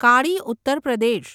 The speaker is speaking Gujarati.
કાળી ઉત્તર પ્રદેશ